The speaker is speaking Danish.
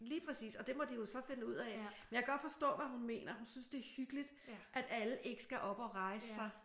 Lige præcis. Og det må de jo så finde ud af. Men jeg kan godt forstå hvad hun mener. Hun siger at det er hyggeligt at alle ikke skal op og rejse sig